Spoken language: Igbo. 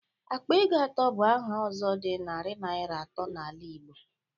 Akpa ego atọ bụ aha ọzọ dị narị naira atọ n'ala Igbo.